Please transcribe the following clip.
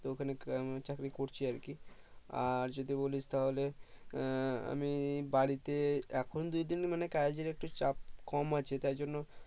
তো ওখানে চাকরি করছি আর কি আর যদি বলিস তাহলে আহ আমি বাড়িতে এখন দু দিন মানে কাজের একটু চাপ কম আছে তাই জন্য